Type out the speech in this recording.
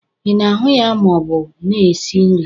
Ị na-ahu ya ma ọ bụ na-esi nri?